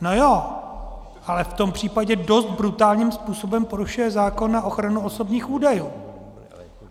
No ano, ale v tom případě dost brutálním způsobem porušuje zákon a ochranu osobních údajů.